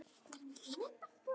Ég er að bíða eftir þér.